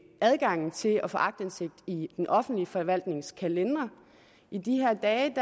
adgangen til at få aktindsigt i den offentlige forvaltnings kalendere i de her dage